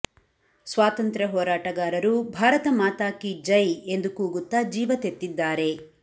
ಸ್ವಾತಂತ್ರ್ಯ ಹೋರಾಟಗಾರರು ಭಾರತ ಮಾತಾ ಕೀ ಜೈ ಎಂದು ಕೂಗುತ್ತಾ ಜೀವ ತೆತ್ತಿದ್ದಾರೆ